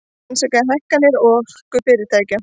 Rannsaka hækkanir orkufyrirtækja